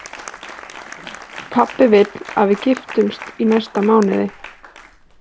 Pabbi vill að við giftumst í næsta mánuði